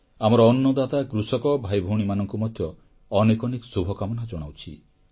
ଆମର ଅନ୍ନଦାତା କୃଷକ ଭାଇଭଉଣୀମାନଙ୍କୁ ମଧ୍ୟ ଅନେକ ଅନେକ ଶୁଭକାମନା ଜଣାଉଛି